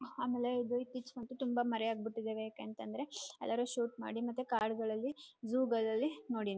ಆಮೆಲೇ ತುಂಬ ಮರೆ ಆಗ್ಬಿಟ್ಟಿದವೆ ಯಾಕೆ ಅಂತಂದ್ರೆ ಎಲ್ಲರೂ ಶೂಟ್ ಮಾಡಿ ಮತ್ತೆ ಕಾಡ್ಗಳಲ್ಲಿ ಝು ಗಳಲ್ಲಿ--